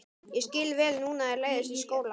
Ég skil vel núna að þér leiðist í skóla.